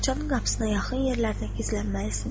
Bağçanın qapısına yaxın yerlərdə gizlənməlisiniz.